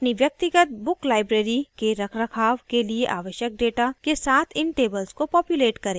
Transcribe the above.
अपनी व्यक्तिगत book library के रखरखाव के लिए आवश्यक data के साथ इन tables को पॉप्यूलेट करें